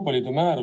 Head kolleegid!